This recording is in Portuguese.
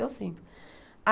Eu sinto.